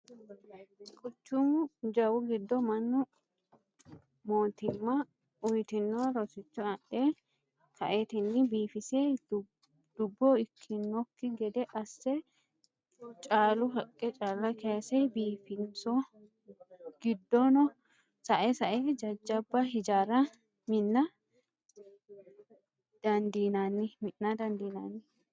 Quchumu jawu giddo mannu mootimma uyitino rosicho adhe kaetinni biifise dubbo ikkanokki gede asse caalu haqe calla kayse biifisino giddono sae sae jajjabba hijaara mina dandiinanni.